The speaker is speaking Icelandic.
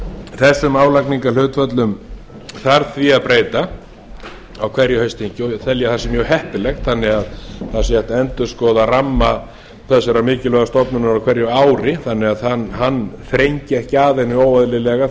þessum álagningarhlutföllum þarf því að breyta á hverju haustþingi og tel ég að það sé mjög heppilegt þannig að það sé hægt að endurskoða ramma þessarar mikilvægu stofnunar á hverju ári þannig að hann eigi ekki að henni óeðlilega